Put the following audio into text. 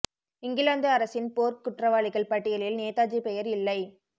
இங்கிலாந்து அரசின் போர்க் குற்றவாளிகள் பட்டியலில் நேதாஜி பெயர் இல்லை